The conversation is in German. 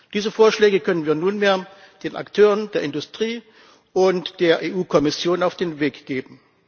Diese Vorschläge können wir nunmehr den Akteuren der Industrie und der EU Kommission mit auf den Weg geben.